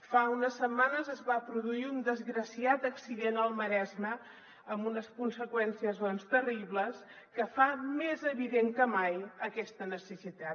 fa unes setmanes es va produir un desgraciat accident al maresme amb unes conseqüències terribles que fa més evident que mai aquesta necessitat